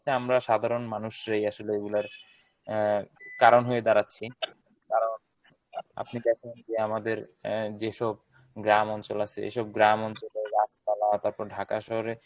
আমরা সাধারণ মানুষরাই আসলে এইগুলার আহ কারন হয়ে দাঁড়াচ্ছি কারন আপনি দেখেন যে আমাদের আহ যেসব গ্রাম অঞ্চল আছে এইসব গ্রামঞ্চলের গাছপালা তারপর Dhaka শহরে